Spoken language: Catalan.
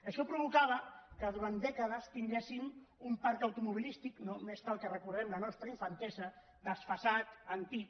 això provocava que durant dècades tinguéssim un parc automobilístic només cal que recordem la nostra infantesa desfasat antic